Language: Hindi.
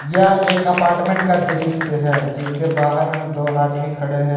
यह एक अपार्टमेंट का दृश्य है जिसके बाहर में दो आदमी खड़े हैं।